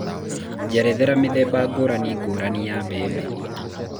njerethera mĩthemba ngũrani ngũrani ya bembe